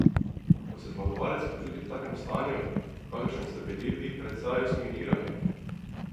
Kako se zmagovalec počuti v takem stanju, v kakršnem ste bili pred sarajevskimi igrami?